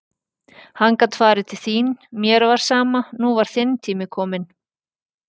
Hann gat farið til þín, mér var sama, nú var þinn tími kominn.